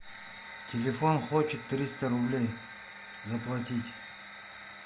телефон хочет триста рублей заплатить